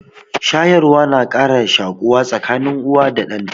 Shayarwa na ƙara shaƙuwa tsakanin uwa da ɗan ta.